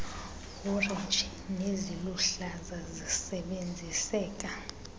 orenji neziluhlaza zisebenziseka